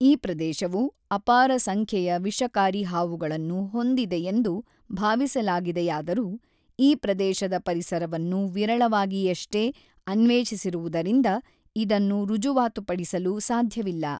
ಈ ಪ್ರದೇಶವು ಅಪಾರ ಸಂಖ್ಯೆಯ ವಿಷಕಾರಿ ಹಾವುಗಳನ್ನು ಹೊಂದಿದೆಯೆಂದು ಭಾವಿಸಲಾಗಿದೆಯಾದರೂ ಈ ಪ್ರದೇಶದ ಪರಿಸರವನ್ನು ವಿರಳವಾಗಿಯಷ್ಟೇ ಅನ್ವೇಷಿಸಿರುವುದರಿಂದ ಇದನ್ನು ರುಜುವಾತುಪಡಿಸಲು ಸಾಧ್ಯವಿಲ್ಲ.